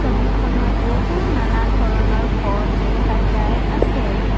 ছবিখনত বহু নানা ধৰণৰ ফল দেখা যায় আছে।